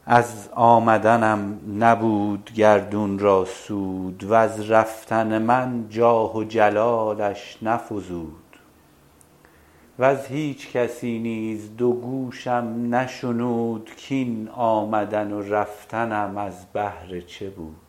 از آمدنم نبود گردون را سود وز رفتن من جاه و جلالش نفزود وز هیچ کسی نیز دو گوشم نشنود کاین آمدن و رفتنم از بهر چه بود